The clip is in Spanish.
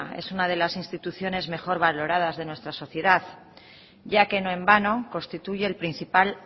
es una de las instituciones mejor valoradas de nuestra sociedad ya que no en vano constituye el principal